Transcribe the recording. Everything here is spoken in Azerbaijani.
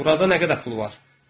Burada nə qədər pul var?